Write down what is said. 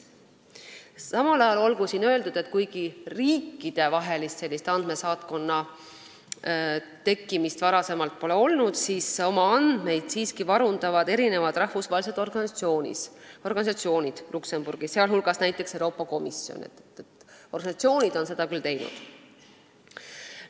Samal ajal olgu öeldud, et kuigi riikidevahelist andmesaatkonda varem pole olnud, siis oma andmeid siiski varundavad mitmed rahvusvahelised organisatsioonid Luksemburgis, sh Euroopa Komisjon, nii et organisatsioonid on seda küll teinud.